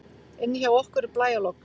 Inni hjá okkur er blæjalogn.